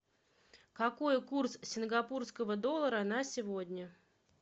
какой курс сингапурского доллара на сегодня